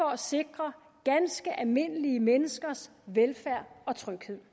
at sikre ganske almindelige menneskers velfærd og tryghed